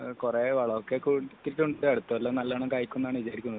കുറെ വളമൊക്കെ ഇട്ടിട്ടുണ്ട് അടുത്ത വര്ഷം നല്ലവണ്ണം കയക്കും എന്നാണ് വിചാരിക്കുന്നത്